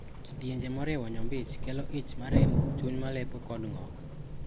Kidienje maoriwo nyombich kelo ich maremo, chuny malepo kod ng`ok.